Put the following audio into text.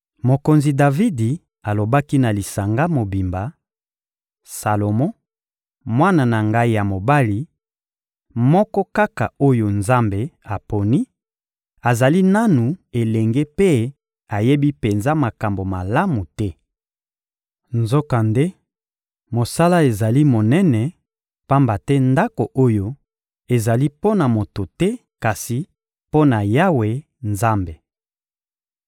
Mokonzi Davidi alobaki na lisanga mobimba: — Salomo, mwana na ngai ya mobali, moko kaka oyo Nzambe aponi, azali nanu elenge mpe ayebi penza makambo malamu te. Nzokande, mosala ezali monene, pamba te Ndako oyo ezali mpo na moto te kasi mpo na Yawe Nzambe.